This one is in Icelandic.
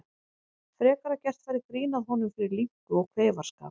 Frekar að gert væri grín að honum fyrir linku og kveifarskap.